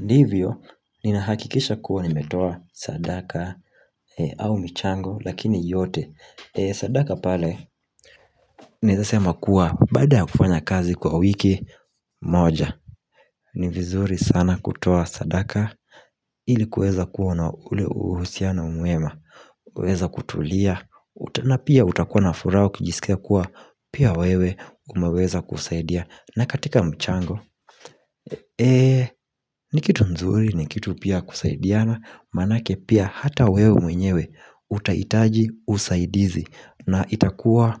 Divyo ni nahakikisha kuaa nimetoa sadaka au mchango lakini yote sadaka pale Naweza sema kua baada ya kufanya kazi kwa wiki moja ni vizuri sana kutoa sadaka ili kuweza kua na ule uhusiano mwema. Unaweza kutulia na pia utakuwa na furaha ukijisikia kua pia wewe umeweza kusaidia na katika mchango Eee ni kitu nzuri ni kitu pia kusaidiana Manake pia hata wewe mwenyewe utahitaji usaidizi na itakua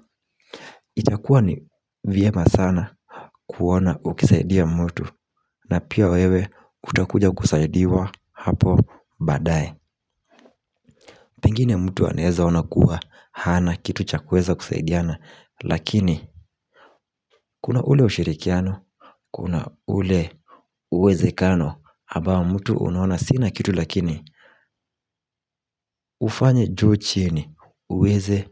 ni vyema sana kuona ukisaidia mtu na pia wewe utakuja kusaidiwa hapo badae Pengine mtu anaweza ona kua hana kitu cha kuweza kusaidiana Lakini kuna ule ushirikiano kuna ule uwezekano ambao mtu unaona sina kitu lakini hufanya juu chini uweze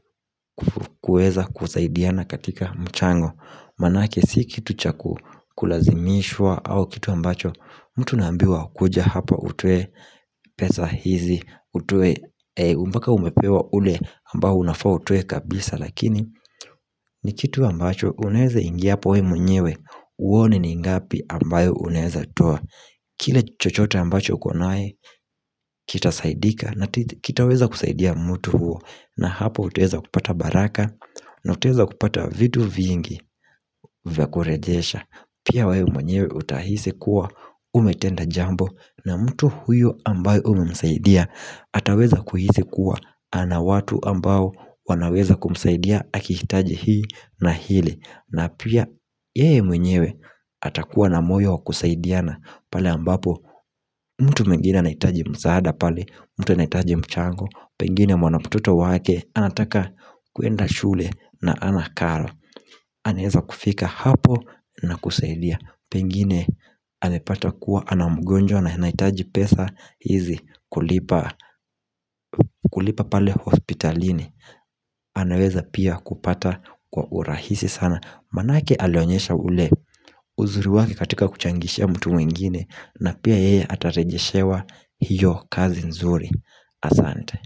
kuweza kusaidiana katika mchango manake si kitu chakukulazimishwa au kitu ambacho mtu nambiwa kuja hapa utoe pesa hizi mpaka umepewa ule ambao unafaa utoe kabisa lakini ni kitu ambacho unaweza ingia hapo wewe mwenyewe uone ni ngapi ambayo unaweza toa Kile chochote ambacho ukonaye Kitasaidika na kitaweza kusaidia mtu huo na hapo utuweza kupata baraka na utuweza kupata vitu vingi vya kurejesha pia wewe mwenyewe utahisi kua Umetenda jambo na mtu huyo ambayo umemsaidia ataweza kuhisi kua ana watu ambao wanaweza kumsaidia akihitaji hii na hili na pia yeye mwenyewe atakuwa na moyo wakusaidiana pale ambapo mtu mwingine anahitaji msaada pale mtu anahitaji mchango Pengine mwana mtoto wake anataka kwenda shule na hana karo. Anaweza kufika hapo na kusaidia Pengine amepata kua ana mgojwa na anahitaji pesa hizi kulipa pale hospitalini anaweza pia kupata kwa urahisi sana Manake alionyesha ule uzuri wake katika kuchangishia mtu wengine na pia heye atarejeshewa hiyo kazi nzuri asante.